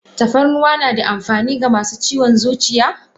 Tafarnuwa nada amfani ga masu ciwon zuciya?